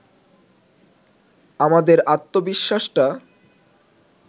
আমাদের আত্মবিশ্বাসটা